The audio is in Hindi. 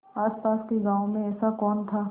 आसपास के गाँवों में ऐसा कौन था